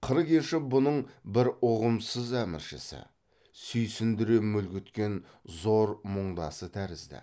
қыр кеші бұның бір ұғымсыз әміршісі сүйсіндіре мүлгіткен зор мұңдасы тәрізді